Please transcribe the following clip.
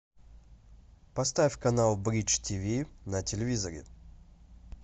поставь канал бридж тв на телевизоре